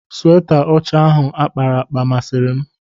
Sweta ọcha ahụ akpara akpa masịrị m.